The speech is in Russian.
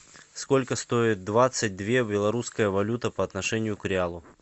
сколько стоит двадцать две белорусская валюта по отношению к реалу